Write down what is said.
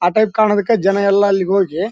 ಆ ಟೈಪ್ ಕಾಣೋದಿಕ್ಕ ಜನ ಎಲ್ಲ ಅಲ್ಲಿಗೆ ಹೋಗಿ--